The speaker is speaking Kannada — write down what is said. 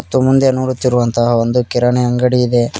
ಮತ್ತು ಮುಂದೆ ನೋಡುತ್ತಿರುವಂತಹ ಒಂದು ಕಿರಣ ಅಂಗಡಿ ಇದೆ.